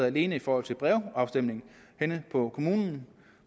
alene i forhold til brevafstemninger henne på kommunen